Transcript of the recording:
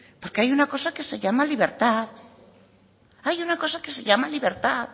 porque hay una cosa que se llama libertad hay una cosa que se llama libertad